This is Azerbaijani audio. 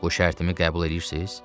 Bu şərtimi qəbul edirsiniz?